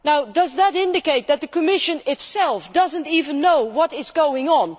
Does that indicate that the Commission itself does not even know what is going on?